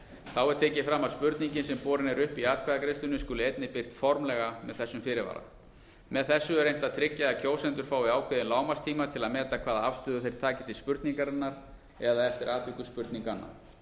þá er tekið fram að spurningin sem borin er upp í atkvæðagreiðslunni skuli einnig birt formlega með þessum fyrirvara með þessu er reynt að tryggja að kjósendur fái ákveðinn lágmarkstíma til að meta hvaða afstöðu þeir taki til spurningarinnar eða eftir atvikum spurninganna